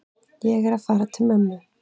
Ég er að fara til mömmu.